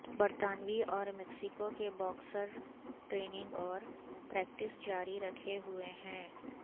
برطانوی اور میکسیکو کے باکسر ٹریننگ اور پریکٹس جاری رکھے ہوئے ہیں